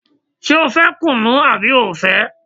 Ṣé o fẹ́ kùnú àbí o ò fẹ́?